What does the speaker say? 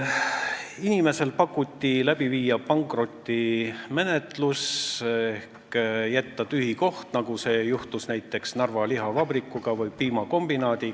Inimesele pakuti pankrotimenetluse läbiviimist ehk tühja koha jätmist, nagu juhtus näiteks Narva lihavabrikuga ja piimakombinaadiga.